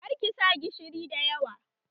Kar ki sa gishiri da yawa!